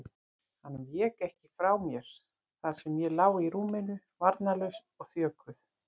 Hann vék ekki frá mér þar sem ég lá í rúminu, varnarlaus og þjökuð.